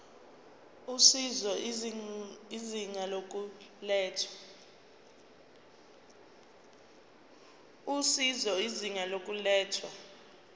usizo izinga lokulethwa